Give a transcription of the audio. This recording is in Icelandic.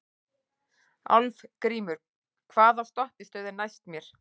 Álfgrímur, hvaða stoppistöð er næst mér?